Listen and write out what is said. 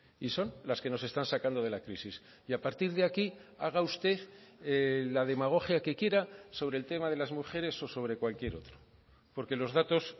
y son las que nos están sacando de la crisis y a partir de aquí haga usted la demagogia que quiera sobre el tema de las mujeres o sobre cualquier otro porque los datos